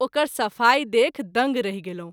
ओकर सफ़ाई देखि दंग रहि गेलहुँ।